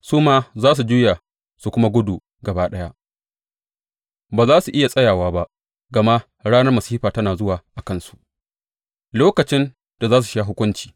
Su ma za su juya su kuma gudu gaba ɗaya, ba za su iya tsayawa ba, gama ranar masifa tana zuwa a kansu, lokacin da za su sha hukunci.